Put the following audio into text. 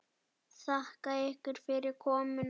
Þakka ykkur fyrir komuna.